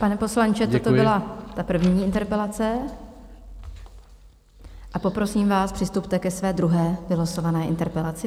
Pane poslanče, to byla ta první interpelace, a poprosím vás, přistupte ke své druhé vylosované interpelaci.